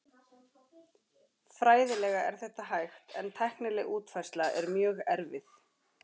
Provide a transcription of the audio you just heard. Fræðilega er þetta hægt en tæknileg útfærsla er mjög erfið.